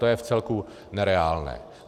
To je vcelku nereálné.